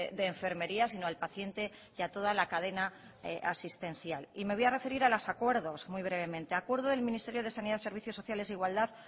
de enfermería sino al paciente y a toda la cadena asistencial me voy a referir a los acuerdos muy brevemente acuerdo del ministerio de sanidad servicios sociales e igualdad